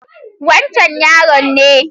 Wancen yaron ne.